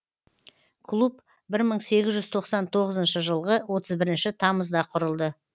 клуб бір мың сегіз жүз тоқсан тоғызыншы жылғы отыз бірінші тамызда құрылды